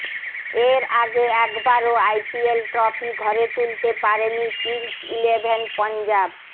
এর আগে একবারও আইপিএল ট্রফি ঘরে তুলতে পারেনি কিংস ইলেভেন পাঞ্জাব